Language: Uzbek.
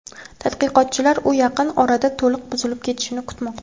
Tadqiqotchilar u yaqin orada to‘liq buzilib ketishini kutmoqda.